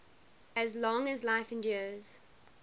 as long as life endures